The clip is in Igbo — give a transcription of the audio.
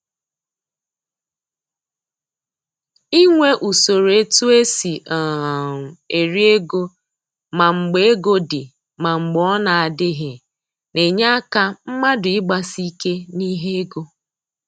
Inwe usoro e tu esi um eri ego ma mgbe ego dị ma mgbe ọ na adịghị, na-enye aka mmadụ ịgbasi ike n'ihe ego